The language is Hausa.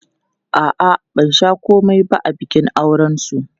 A'a, ban sha komai ba a bikin aurensu.